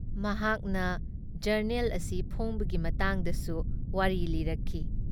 ꯃꯍꯥꯛꯅ ꯖꯔꯅꯦꯜ ꯑꯁꯤ ꯐꯣꯡꯕꯒꯤ ꯃꯇꯥꯡꯗꯁꯨ ꯋꯥꯔꯤ ꯂꯤꯔꯛꯈꯤ ꯫